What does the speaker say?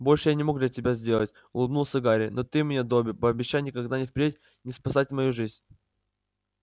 больше я не мог для тебя сделать улыбнулся гарри но ты мне добби пообещай никогда и впредь не спасать мою жизнь